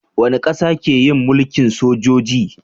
Wani ƙasa ke yin mulkin sojoji